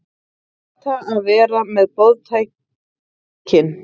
Neita að vera með boðtækin